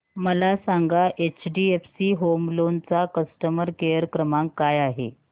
मला सांगा HDFC home loan चा कस्टमर केअर क्रमांक काय आहे